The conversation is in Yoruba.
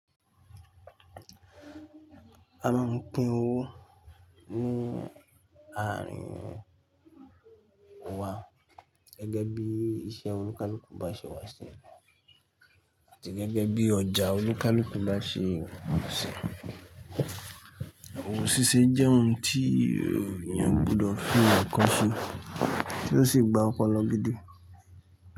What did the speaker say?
A máa ń pín owó ní àárín wa gẹ́gẹ́ bí iṣẹ́ olúkálúkú bá ṣe wà sí, àti gẹ́gẹ́ bí ọjà olúkálúkú bá ṣe wà sí. Owó ṣíṣe jẹ́ ohun tí ènìyàn gbọ́dọ̀ fi àkọ́ṣẹ́ tí ó sì gba ọpọlọ gbídí.